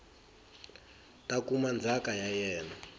ta kuma ndzhaka ya yena